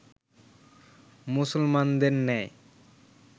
মুসলমানদের ন্যায়